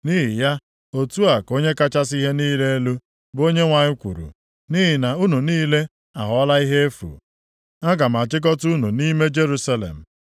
Nʼihi ya, otu a ka Onye kachasị ihe niile elu, bụ Onyenwe anyị kwuru: ‘Nʼihi na unu niile aghọọla ihe efu, aga m achịkọta unu nʼime Jerusalem.